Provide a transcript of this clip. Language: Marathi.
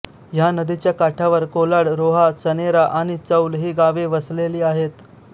ह्या नदीच्या काठावर कोलाड रोहा चणेरा आणि चौल हि गावे वसलेली आहेत